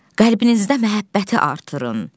Qəlbinizdə məhəbbəti artırın.